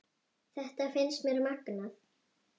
Þetta finnst mér magnað.